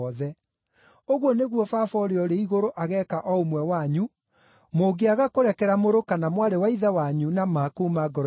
“Ũguo nĩguo Baba ũrĩa ũrĩ igũrũ ageeka o ũmwe wanyu, mũngĩaga kũrekera mũrũ kana mwarĩ wa ithe wanyu na ma kuuma ngoro-inĩ cianyu.”